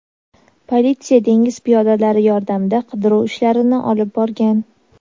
Politsiya dengiz piyodalari yordamida qidiruv ishlarini olib borgan.